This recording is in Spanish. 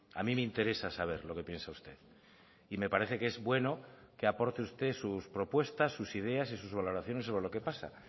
a mí me interesa saber lo que piensa usted y me parece que es bueno que aporte usted sus propuestas sus ideas y sus valoraciones sobre lo que pasa